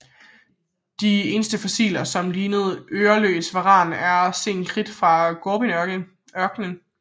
De eneste fossiler som ligner øreløs varan er fra sen kridt i Gobiørkenen